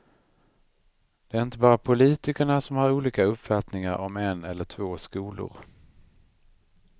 Det är inte bara politikerna som har olika uppfattningar om en eller två skolor.